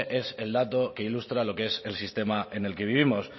ese es el dato que ilustra lo que es el sistema en el que vivimos